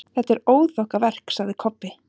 Þetta er óþokkaverk, sagði Kobbi.